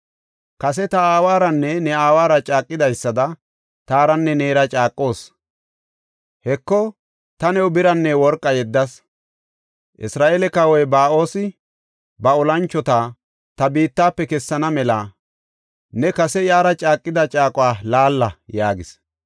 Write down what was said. “Kase ta aawaranne ne aawara caaqidaysada taaranne neera caaqoos. Heko, ta new biranne worqa yeddas. Isra7eele kawoy Ba7oosi ba olanchota ta biittafe kessana mela ne kase iyara caaqida caaquwa laalla” yaagis.